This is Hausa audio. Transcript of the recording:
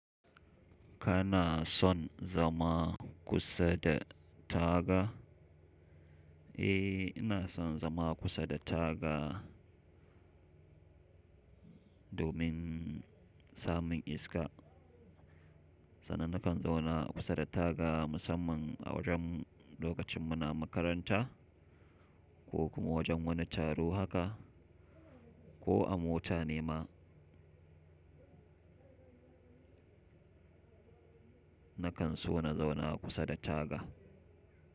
Kana son zama kusa da taga? Eh, ina son zama kusa da taga domin samun iska. Sanan nakan zauna kusa da taga musamman a wajen lokacin muna makaranta ko kuma wajen wani taro haka ko a mota ne ma. Nakan so na zauna kusa da taga.